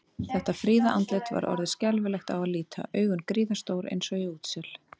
Þetta fríða andlit var orðið skelfilegt á að líta, augun gríðarstór eins og í útsel.